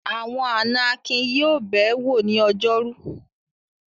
Àwọn àná Akin yóò bẹ̀ ẹ́ wò ní ọjọ́rú.